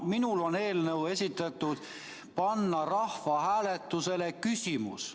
Minul on esitatud eelnõu, et panna rahvahääletusele küsimus.